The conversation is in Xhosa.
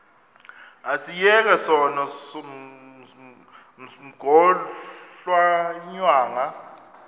asiyeke sono smgohlwaywanga